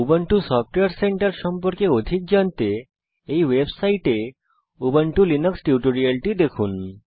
Ubuntu software centre সম্পর্কে অধিক জানতে এই ওয়েবসাইটে উবুন্টু লিনাক্স টিউটোরিয়ালটি দেখুন